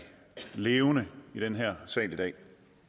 levende i den her sal i dag